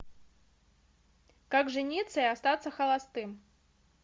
как жениться и остаться холостым